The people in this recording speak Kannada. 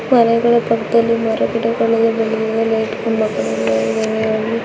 ಮನೆಗಳ ಪಕ್ಕದಲ್ಲಿ ಮರ ಗಿಡಗಲ್ಲೇಲ ಇಟ್ಕೊಂಡು ಮಕ್ಕಳು ಎಲ್ಲ ಇದಾರೆ ಅಲ್ಲಿ .